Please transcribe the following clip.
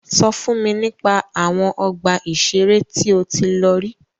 Sọ fún mi nípa àwọn ọgbà ìṣẹ̀rẹ́ tí o tí lọ rí.